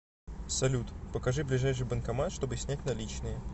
салют покажи ближайший банкомат чтобы снять наличные